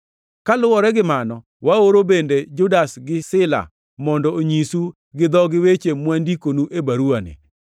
Kaluwore gi mano, waoro bende Judas gi Sila mondo onyisu gi dhogi weche mwandikonu e baruwani.